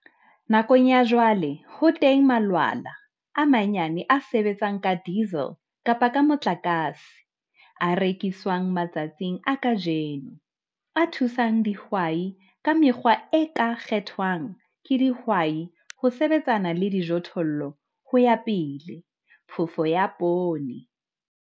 Nakong ya jwale ho teng malwala a manyane a sebetsang ka diesel kapa ka motlakase, a rekiswang matsatsing a kajeno, a thusang dihwai ka mekgwa e ka kgethwang ke dihwai ho sebetsana le dijothollo ho ya pele - phofo ya poone.